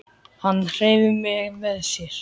Hann hreif mig með sér.